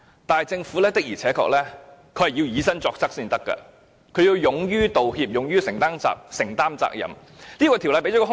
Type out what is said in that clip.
但政府的確要以身作則，要勇於道歉，勇於承擔責任。